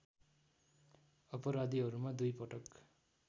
अपराधीहरूमा दुई पटक